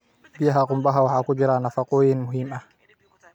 Biyaha qumbaha waxaa ku jira nafaqooyin muhiim ah.